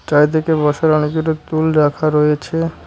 চারদিকে বসার অনেকগুলো টুল রাখা রয়েছে।